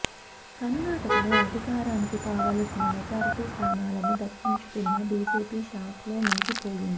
కర్ణాటకలో అధికారానికి కావలసిన మెజారిటీ స్థానాలను దక్కించుకున్న బీజేపీ షాక్ లో మునిగిపోయింది